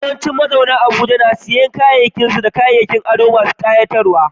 Yawancin mazauna Abuja sukan sanya kayan su da kayan ado masu ƙayatarwa.